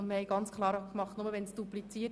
Es handelt sich hier um einen eigenen Antrag.